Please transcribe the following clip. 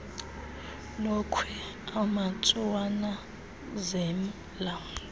lokhwe amtsho wananazela